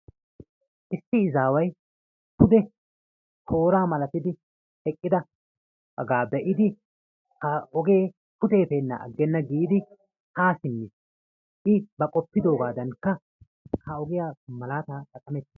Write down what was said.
Issi izaway pude toora malatidi eqqidaga be'idi ha ogee pude efennan aggenna giidi haa simmiis. I ba qofidoogaadankka ha ogiya malaata xaqqamettiis.